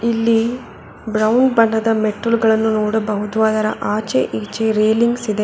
ಇಲ್ಲಿ ಬ್ರೌನ್ ಬಣ್ಣದ ಮೆಟ್ಟಿಲುಗಳನ್ನು ನೋಡಬಹುದು ಅದರ ಆಚೆ ಈಚೆ ರೇಲಿಂಗ್ಸ್ ಇದೆ.